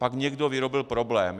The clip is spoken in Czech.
Pak někdo vyrobil problém.